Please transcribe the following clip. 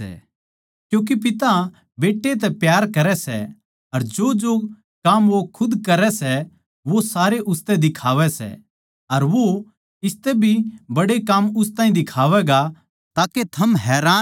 क्यूँके पिता बेट्टै तै प्यार करै सै अर जोजो काम वो खुद करै सै वो सारे उसतै दिखावै सैः अर वो इसतै भी बड्डे काम उस ताहीं दिखावैगा ताके थम हैरान होओ